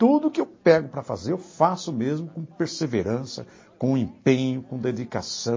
Tudo que eu pego para fazer, eu faço mesmo com perseverança, com empenho, com dedicação.